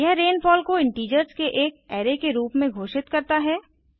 यह रेनफॉल को इंटीजर्स के एक अराय के रूप में घोषित करता है